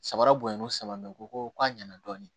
Sabara bonyani o san bɛ u ko ko a ɲɛna dɔɔni